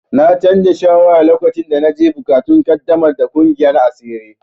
Na canza shawara lokacin da na ji buƙatun ƙaddamar da ƙungiyar asiri.